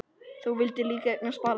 Þú vildir líka eignast barn.